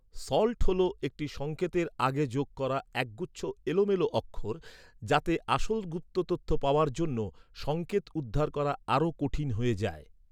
"Salt" হল একটি সংকেতের আগে যোগ করা একগুচ্ছ এলোমেলো অক্ষর, যাতে আসল গুপ্ত তথ্য পাওয়ার জন্য, সংকেত উদ্ধার করা আরও কঠিন হয়ে যায়।